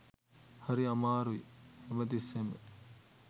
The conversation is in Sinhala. හරි අමාරුයි හැම තිස්සෙම